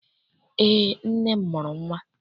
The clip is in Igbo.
Eé, nne m mụrụ nnwa.